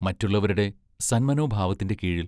മറ്റുള്ളവരുടെ സന്മനോഭാവത്തിന്റെ കീഴിൽ